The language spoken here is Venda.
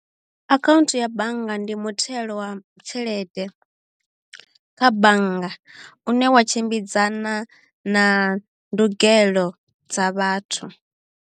Akhaunthu ya bannga ndi muthelo wa tshelede kha bannga u ne wa tshimbidzana na ndugelo dza vhathu.